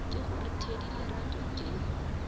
ke gore thedi lerato ke